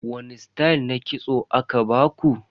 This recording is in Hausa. Wani stayal na kitso aka baku?